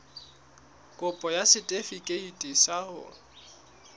kopo ya setefikeiti sa ho